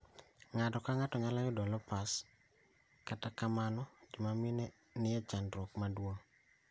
Ng'ato ka ng'ato nyalo yudo lupus, kaka kamano joma mine en nie chandruok maduong'